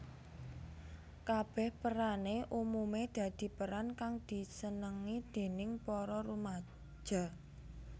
Kabèh perané umumé dadi peran kang disenengi déning para rumaja